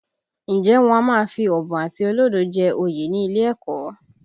Ǹjẹ́ wọn a máa fi ọ̀bùn àti olódo jẹ oyè ní ilé ẹ̀kọ́?